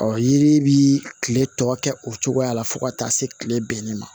Ɔ yiri bi kile tɔ kɛ o cogoya la fo ka taa se kile bɛnnen ma